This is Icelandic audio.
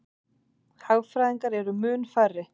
Hagfræðingar eru mun færri.